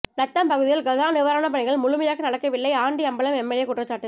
நத்தம் பகுதியில் கஜா நிவாரண பணிகள் முழுமையாக நடக்கவில்லை ஆண்டிஅம்பலம் எம்எல்ஏ குற்றச்சாட்டு